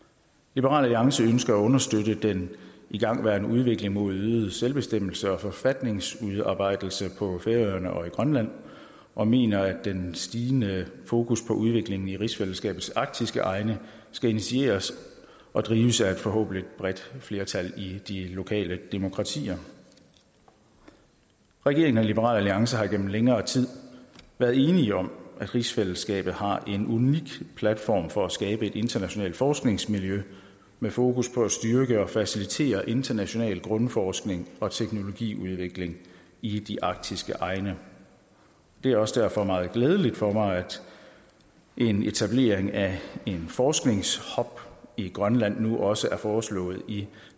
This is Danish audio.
liberal alliance ønsker at understøtte den igangværende udvikling mod øget selvbestemmelse og forfatningsudarbejdelse på færøerne og i grønland og mener at den stigende fokus på udvikling i rigsfællesskabets arktiske egne skal initieres og drives af et forhåbentlig bredt flertal i de lokale demokratier regeringen og liberal alliance har igennem længere tid været enige om at rigsfællesskabet har en unik platform for at skabe et internationalt forskningsmiljø med fokus på at styrke og facilitere international grundforskning og teknologiudvikling i de arktiske egne det er også derfor meget glædeligt for mig at en etablering af forskningshub i grønland nu også er foreslået i